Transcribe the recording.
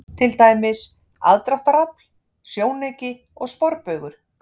Til dæmis: aðdráttarafl, sjónauki og sporbaugur.